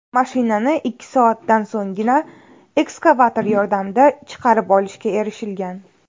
Mashinani ikki soatdan so‘nggina ekskavator yordamida chiqarib olishga erishilgan.